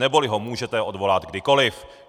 Neboli ho můžete odvolat kdykoli.